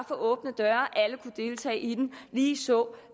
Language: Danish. for åbne døre alle kunne deltage i det ligeså